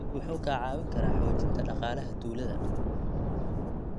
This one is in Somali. Dalaggu wuxuu kaa caawin karaa xoojinta dhaqaalaha tuulada.